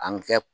An kɛ